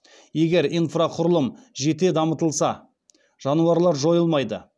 егер инфрақұрылым жете дамытылса жануарлар жойылмайды